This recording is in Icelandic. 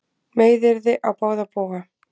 Meiðyrði á báða bóga